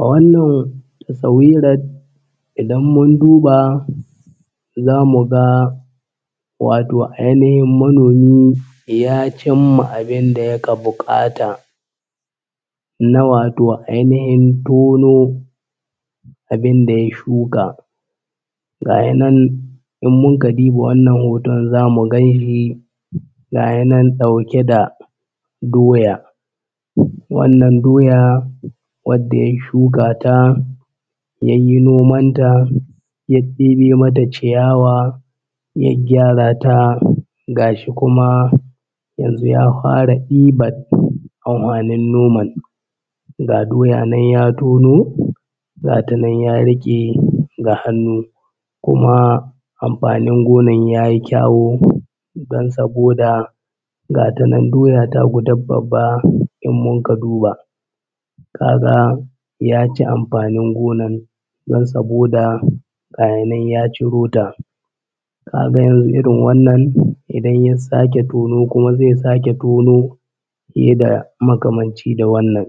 A wannan tasawirar idan mun duba za mu ga wato ainihin manomi ya cimma abin da yaka buƙata na wato ainahin tono abin da ya shuka. Ga ya nan in mun ka diba wannan hoton za mu gan shi gaya nan ɗauke da doya. Wannan doya wadda ya shuka ta yayyi nomanta ya ɗebe mata ciyawa ya gyara ta gashi kuma yanzu ya fara ɗiban anhwanin noman. Ga doya nan ya tono gata nan ya riƙe da hannun kuma amfanin gonan ta yi kyawu don saboda gata nan doya ta gudda babba in mun ka duba, ka ga ya ci amfanin gonan don saboda gaya nan ya ciro ta. Ka ga yanzu irin wannan idan ya sake tono kuma zai sake tono fiye da makamanci da wannan.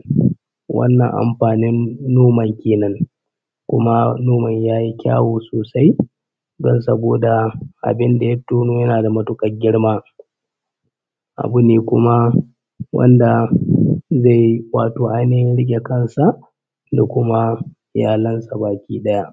Wannan amfanin noman Kenan kuma noman ya yi kyawu sosai don saboda abin da ya tono yana da matuƙar girma abu ne kuma wanda zai ƙwato ainihin riƙe kan sa da kuma iyalan sa baki ɗaya.